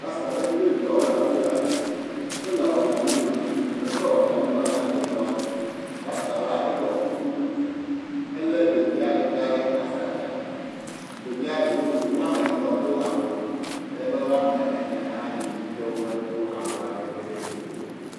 Rasita ɖe kple viawo le afi ya. Wole watamelɔni ɖum. Efe watalina na ɖeviawo. Rasita la eɖɔ kuku. Ele ɖevia ɖeka ɖe atata. Ɖevia ɖowo woame etɔ̃ do awu. Ale be woame ene hã li womedo awua ɖeke le dzi o.